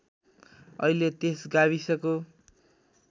अहिले त्यस गाविसको